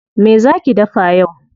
Me zaa ki dafa yau?